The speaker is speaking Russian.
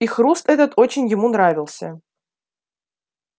и хруст этот очень ему нравился